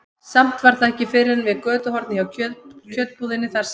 Samt var það ekki fyrr en við götuhornið hjá kjötbúðinni, þar sem